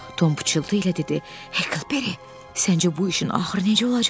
Tom pıçıltı ilə dedi: "Heklberi, səncə bu işin axırı necə olacaq?